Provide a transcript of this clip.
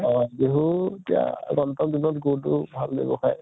অহ বিহু এতিয়া দিনত গুড়্তো ভাল ব্য়ৱসায়